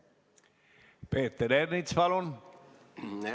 Peeter Ernits, palun!